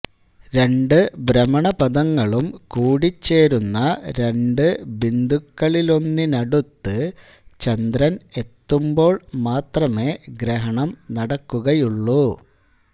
രണ്ട് ഭ്രമണപഥങ്ങളും കൂടിച്ചേരുന്ന രണ്ട് ബിന്ദുക്കളിലൊന്നിനടുത്ത് ചന്ദ്രൻ എത്തുമ്പോൾ മാത്രമേ ഗ്രഹണം നടക്കുകയുള്ളൂ